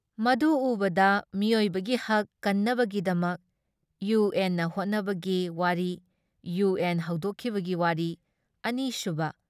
ꯃꯗꯨ ꯎꯕꯗ ꯃꯤꯑꯣꯏꯕꯒꯤ ꯍꯛ ꯀꯟꯅꯕꯒꯤꯗꯃꯛ ꯏꯌꯨ ꯑꯦꯟꯅ ꯍꯣꯠꯅꯕꯒꯤ ꯋꯥꯔꯤ, ꯏꯌꯨ ꯑꯦꯟ ꯍꯧꯗꯣꯛꯈꯤꯕꯒꯤ ꯋꯥꯔꯤ, ꯑꯅꯤꯁꯨꯕ